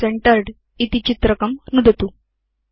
मध्ये सेन्टर्ड् इति चित्रकं नुदतु